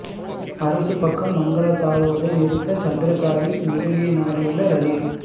அரசு பக்கம் மங்கள தாவுவதை நிறுத்த சந்திரிகாவின் உதவியை நாடியுள்ளார் ரணில்